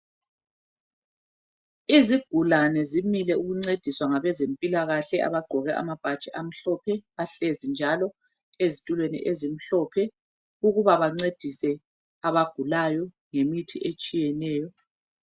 Izigulane zimile ukuncediswa ngabezempilakahle abagqoke ama bhatshi amhlophe bahlezi njalo ezitulweni ezimhlophe ukuba bancedise abagulayo ngemithi etshiyeneyo